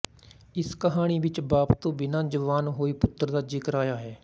ਇਸ ਕਹਾਣੀ ਵਿੱਚ ਬਾਪ ਤੋਂ ਬਿਨਾਂ ਜਵਾਨ ਹੋਏ ਪੁੱਤਰ ਦਾ ਜ਼ਿਕਰ ਆਇਆ ਹੈ